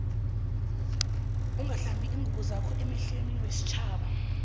ungahlanzi iingubo zakho emehlwenestjhaba